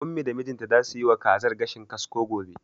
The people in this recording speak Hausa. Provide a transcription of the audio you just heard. Ummi da mijinta zasu yiwa kazar gashin kasko gobe.